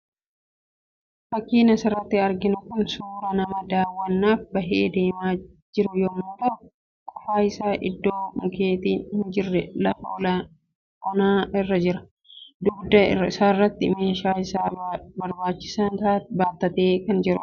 Fakkiin asirratti arginu kun suuraa nama daawwannaaf bahee deemaa jiru yemmuu tahu, qofa isaa iddoo mukkeetiin hin jirre lafa onaa irra jira. Dugda isaarrattis meeshaalee isa barbaachisan baattatee kan jirudha.